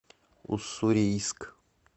уссурийск